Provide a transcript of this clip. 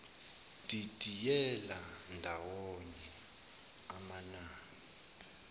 didiyela ndawonye amanani